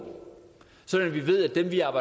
vide